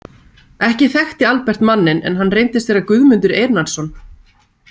Ekki þekkti Albert manninn en hann reyndist vera Guðmundur Einarsson.